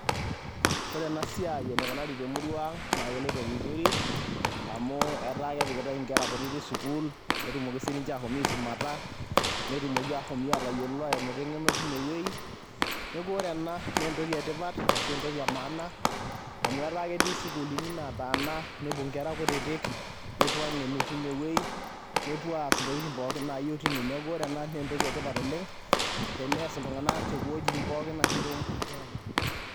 Ore ena siai enikunari te murua ang' naake eloito vizuri amu ketaa kepikitai inkera kutitik sukuul peetumoki sininje ashom aisumata, netumoki ashom atayiolo ainoto eng'eno tine wuei. Neeku ore ena nee entoki e tipat ashu entoki e maana amu ketaa eti sukuulini nataa napuo nkera kutitik nepuo ang'enu tine wuei, nepuo aas ntokitin nayeu tine. Neeku ore ena naa entoki e tipat oleng' tenees iltung'anak te wuejitin pookin ashu te murua pookin.